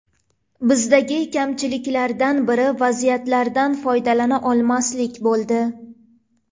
Bizdagi kamchiliklardan biri vaziyatlardan foydalana olmaslik bo‘ldi.